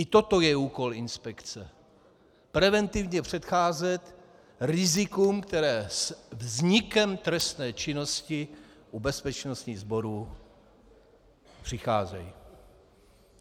I toto je úkol inspekce - preventivně předcházet rizikům, která se vznikem trestné činnosti u bezpečnostních sborů přicházejí.